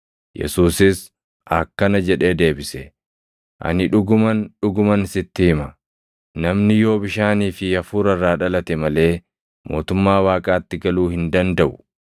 Yesuusis akkana jedhee deebise; “Ani dhuguman, dhuguman sitti hima; namni yoo bishaanii fi Hafuura irraa dhalate malee mootummaa Waaqaatti galuu hin dandaʼu.